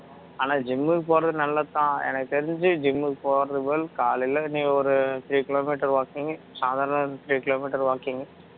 ஆனா gym க்கு போறது நல்லதுதான் எனக்கு தெரிஞ்சி gym க்கு போறதுக்கு பதில் காலையில நீ ஒரு three kilometer walking சாதாரண three kilometer walking